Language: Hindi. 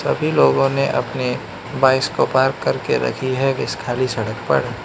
सभी लोगों ने अपने बाइक्स को पार्क करके रखी है इस खाली सड़क पर।